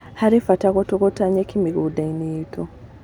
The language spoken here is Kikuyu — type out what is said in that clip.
Harĩ bata gũtũgũta nyeki mĩgũnda-inĩ itu